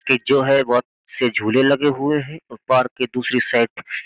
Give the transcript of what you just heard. कि जो है बोहोत से झूले लगे हुए हैं। अ पार्क के दूसरे साइड --